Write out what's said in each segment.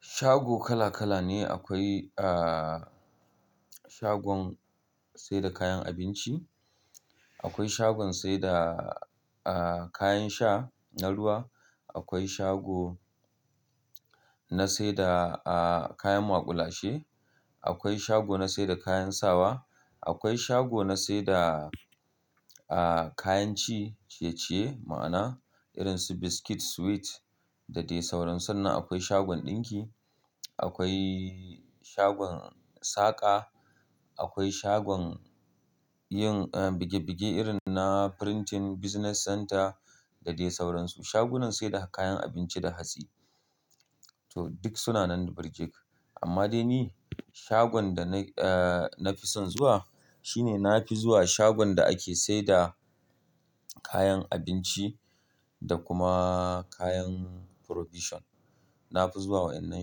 Shago kala kala ne. Akwai, ah, shagon saida kayan abinci, akwai shagon saida, ah, kayan sha na ruwa, akwai shago na saida, ah, kayan maƙulashe, akwai shago na saida kayan sawa, akwai shago na saida, ah, kayan ci ciye-ciye ma'ana irin su biskit, sweet da dai sauransu. Na akwai shagon ɗinki, akwai shagon saƙa, akwai shagon yin, ah, buge-buge irin na printing business center da dai sauransu. Shagunan saida kayan abinci da hatsi. To duk suna nan da Birjit. Amma dai ni shagon da na, ah, na fi son zuwa shi ne na fi zuwa shagon da ake saida kayan abinci da kuma kayan provision. Na fi zuwa wa'annan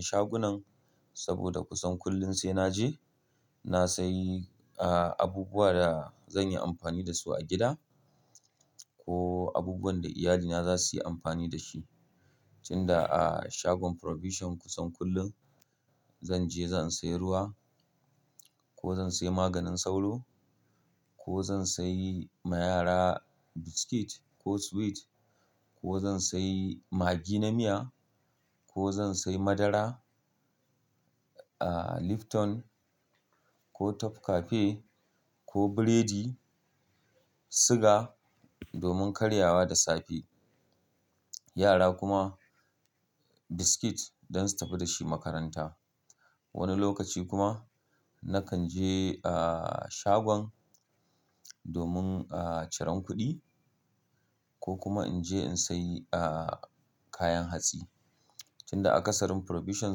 shagunan saboda kusan kullum sai naje na sayi, ah, abubuwa da zan yi amfani da su a gida ko abubuwan da iyalina za su yi amfani da shi. Tun da a shagon provision kusan kullum zanje zan sayi ruwa ko zan sayi maganin sauro ko zan sayi ma yara biskit ko sweet ko zan sayi magi na miya ko zan sayi madara, ah, Lipton ko Top Cafe ko burodi, suga domin karyawa da safe. Yara kuma biskit don su tafi da shi makaranta. Wani lokaci kuma nakan je, ah, shagon domin, ah, ciran kuɗi ko kuma in je in sayi, ah, kayan hatsi. Tun da akasarın provision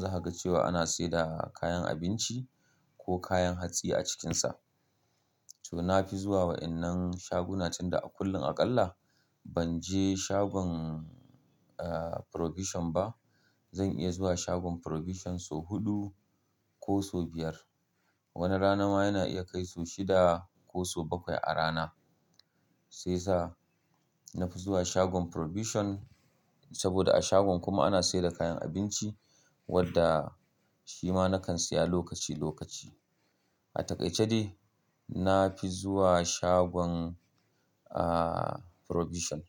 za ka ga cewa ana saida kayan abinci ko kayan hatsi a cikinsa. To na fi zuwa wa'innan shaguna tun da kullum aƙalla ban je shagon, ah, provision ba zan iya zuwa shagon provision so huɗu ko so biyar. Wani rana ma yana iya kai so shida ko so bakwai a rana. Sai sa na fi zuwa shagon provision saboda a shagon kuma ana saida kayan abinci wadda shi ma na kan siya lokaci lokaci. A takaice dai na fi zuwa shagon, ah, provision.